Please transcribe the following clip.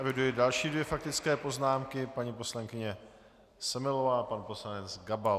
Eviduji další dvě faktické poznámky: paní poslankyně Semelová a pan poslanec Gabal.